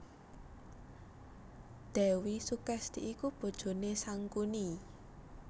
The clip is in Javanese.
Dèwi Sukesti iku bojoné Sangkuni